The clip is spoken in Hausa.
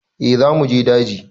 Eh za mu je daji.